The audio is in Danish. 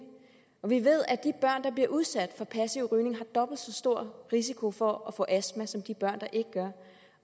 vi ved at de børn der bliver udsat for passiv rygning har dobbelt så stor risiko for at få astma som de børn der ikke gør